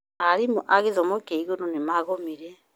Arimũ a gĩthomo kĩa iguru nĩ magomire